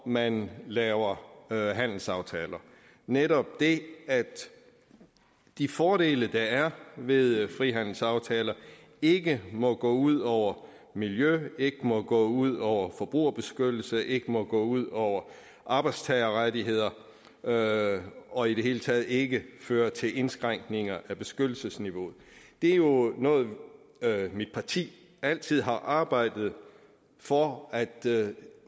man laver handelsaftaler netop det at de fordele der er ved frihandelsaftaler ikke må gå ud over miljø ikke må gå ud over forbrugerbeskyttelse ikke må gå ud over arbejdstagerrettigheder og og i det hele taget ikke føre til indskrænkninger af beskyttelsesniveauet det er jo noget mit parti altid har arbejdet for at